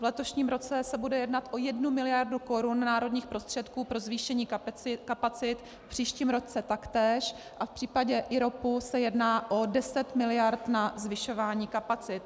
V letošním roce se bude jednat o jednu miliardu korun národních prostředků pro zvýšení kapacit, v příštím roce taktéž a v případě IROPu se jedná o 10 miliard na zvyšování kapacit.